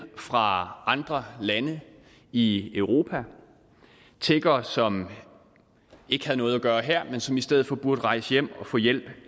fra andre lande i europa tiggere som ikke havde noget at gøre her men som i stedet for burde rejse hjem og få hjælp